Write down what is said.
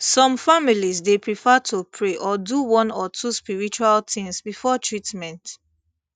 some families dey prefer to pray or do one or two spiritual things before treatment